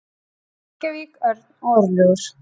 Reykjavík, Örn og Örlygur.